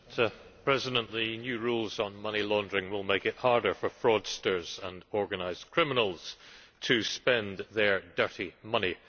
Mr President, the new rules on money laundering will make it harder for fraudsters and organised criminals to spend their dirty money.